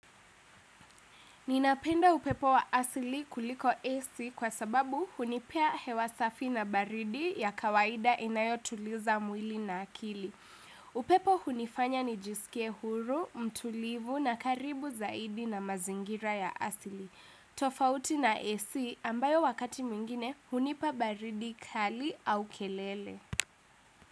Ninapenda upepo wa asili kuliko AC kwa sababu hunipea hewa safi na baridi ya kawaida inayotuliza mwili na akili. Upepo hunifanya nijiskie huru, mtulivu na karibu zaidi na mazingira ya asili. Tofauti na AC ambayo wakati mwingine hunipa baridi kali au kelele.